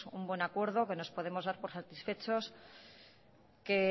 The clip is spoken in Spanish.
un buen acuerdo que nos podemos dar todos por satisfechos